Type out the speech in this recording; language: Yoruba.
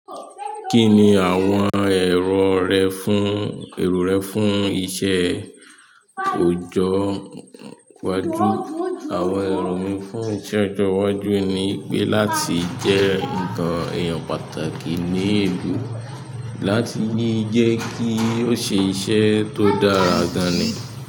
Kí ni àwọn èrò rẹ fún, èrò rẹ fún iṣẹ́ ọjọ́ iwájú? Àwọn iro mi fún ọjọ́ iwájú ni pe láti jẹ́ ǹkan eyan pàtàkì ní ìlú, láti ní jẹ́ kí o ṣe iṣẹ́ tó dára gan ni.